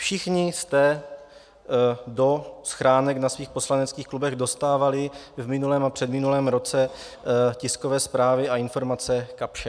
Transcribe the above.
Všichni jsme do schránek na svých poslaneckých klubech dostávali v minulém a předminulém roce tiskové zprávy a informace Kapsche.